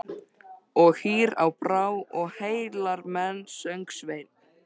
Og hýr á brá og heillar menn, söng Sveinn.